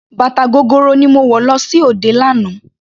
Bàtà gogoro ni mo wọ̀ lọ sí òde lánàá.